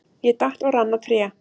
Ég datt og rann á tré.